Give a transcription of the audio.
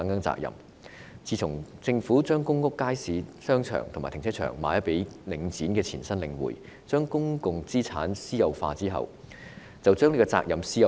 自從政府將公屋街市、商場和停車場出售予領展的前身領匯，將公共資產私有化後，連責任也私有化。